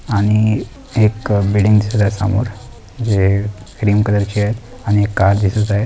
आणि एक बिल्डिंग दिसत आहे समोर जे क्रीम कलर ची आहे आणि एक कार दिसत आहे.